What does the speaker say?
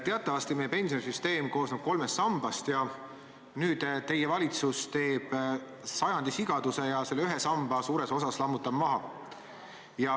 Teatavasti meie pensionisüsteem koosneb kolmest sambast ja nüüd teie valitsus teeb sajandi sigaduse ja ühe samba suures osas lammutab maha.